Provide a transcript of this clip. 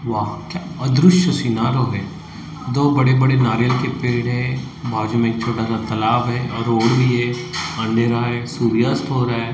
वाह क्या अदृश्य सिनारो है दो बड़े बड़े नारियल के पेड़ है बाजू में एक छोटा सा तालाब है और रोड भी है अंधेरा है सूर्यास्त हो रहा है।